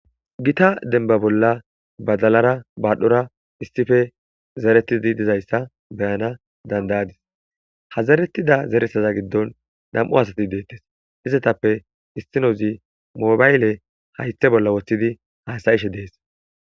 gita denba bolla badalara baadhdhora issife zeretidi dizayssa beyana dandayadis hazerettida zeresaza giddon dam7u asati deettes izetappe istinozi moobayle haythe bolla woththidi haasayishe dees